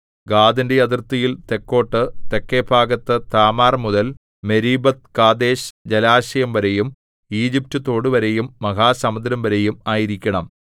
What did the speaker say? ഗാദിന്റെ അതിർത്തിയിൽ തെക്കോട്ട് തെക്കെ ഭാഗത്ത് താമാർമുതൽ മെരീബത്ത്കാദേശ് ജലാശയംവരെയും ഈജിപറ്റ് തോടുവരെയും മഹാസമുദ്രംവരെയും ആയിരിക്കണം